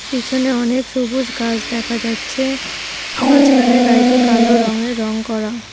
পিছনে অনেক সবুজ গাছ দেখা যাচ্ছে মাঝখানের গাড়িটি কালো রঙে রঙ করা।